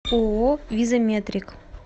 ооо визаметрик